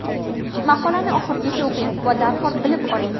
Maqolani oxirigacha o‘qing va darhol bilib oling.